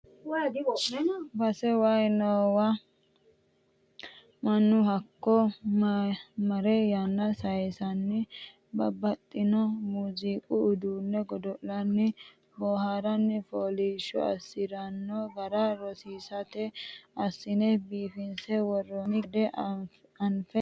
Base waayi noowa mannu hakko marre yanna sayisanni babbaxxino muziiqu uduune godo'lanni booharanni foolishsho assirano gara rosiisate assine biifinse worooni gede anfe base togotta dodhalla noonke.